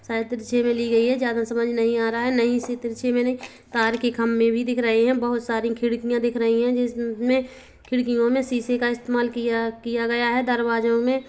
शायद तिरछे मे ली गई है ज्यादा समझ मे नही आ रहा है नई सी तिरछी मेने तार के खंबे भी दिख रहे है बहोत सारी खिड़किया दिख रही है जिस म मे खिड़कीओ मे शीशे का इस्तमाल किया किया गया है दरवाजों मे--